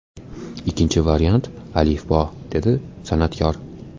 Ikkinchi variant ‘Alifbo‘”, – dedi san’atkor.